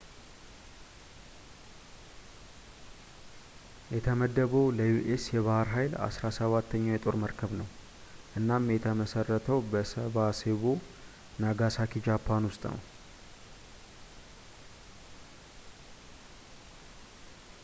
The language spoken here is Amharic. የተመደበው ለዩ.ኤስ. የባህር ኃይል አስራ ሰባተኛው የጦር መርከብ ነው፤ እናም የተመሰረተው በሳሴቦ፣ ናጋሳኪ ጃፓን ውስጥ ነው